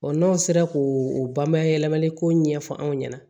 n'aw sera k'o banbayɛlɛmali ko ɲɛfɔ anw ɲɛna